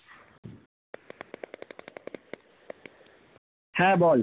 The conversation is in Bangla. হ্যাঁ বল